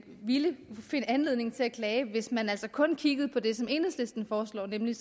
ville finde anledning til at klage hvis man altså kun kiggede på det som enhedslisten foreslår nemlig